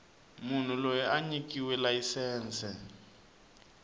munhu loyi a nyikiweke layisense